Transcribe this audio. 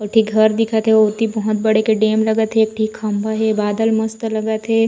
एक ठी घर दिखत हे ओती बहोत बड़े के डेम लगत हे एक ठी खंभा हे बादल मस्त लगत हे।